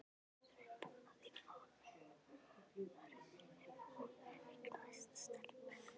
Yrði mamma þín ánægðari ef hún eignaðist stelpu?